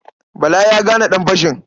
Bala ya gane ɗanfashin.